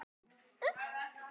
Ég gat ekki annað en hlegið.